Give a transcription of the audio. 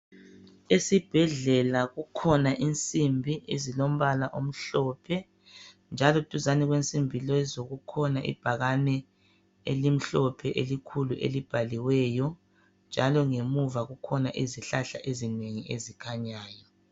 esibhedlela kukhona insimbi ezilombala omhlophe njalo duzane kwensimbi lezo kukhona ibhakane elimhlophe elikhulu elibhaliweyo njalo ngemuva kukhona izihlahla ezinengi ezikhanyayo